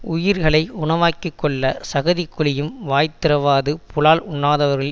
உயிர்களை உணவாக்கி கொள்ள சகதிக்குழியும் வாய் திறவாது புலால் உண்ணாதவர்கள்